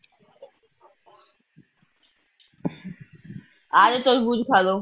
ਆਜੋ ਤਰਬੂਜ ਖਾਲੋ।